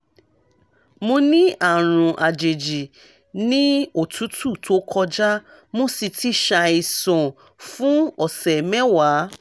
mo ní àrùn àjèjì ní òtútù tó kọjá mo sì ti ṣàìsàn fún ọ̀sẹ̀ mẹ́wàá